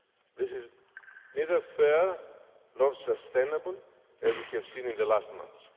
This is neither fair nor sustainable, as we have seen in the last months.